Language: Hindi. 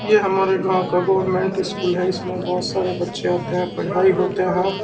यह हमारे गाँव का गवर्नमेंट स्कूल है इसमे बहोत सारे बच्चे आते हैं पढ़ाई होते है।